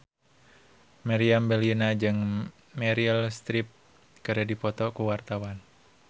Meriam Bellina jeung Meryl Streep keur dipoto ku wartawan